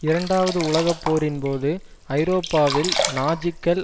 இரண்டாவது உலகப்போரின் போது ஐரோப்பாவில் நாஜிக்கள்